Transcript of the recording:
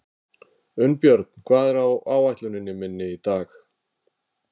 Unnbjörn, hvað er á áætluninni minni í dag?